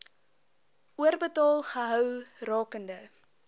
oorbetaal gehou rakende